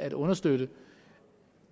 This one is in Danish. at understøtte